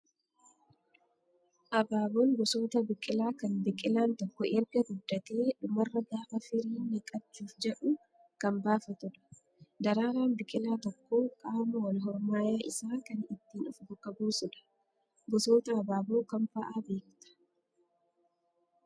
Abaaboon gosoota biqilaa kan biqilaan tokko erga guddatee dhumarra gaafa firiin naqachuuf jedhu kan baafatudha. Daraaraan biqilaa tokkoo qaama wal hormaayaa isaa kan ittiin of bakka buusudha. Gosoota abaaboo kam fa'aa beektaa?